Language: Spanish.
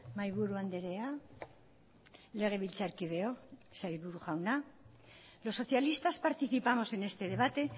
mahaiburu andrea legebiltzarkideok sailburu jauna los socialistas participamos en este debate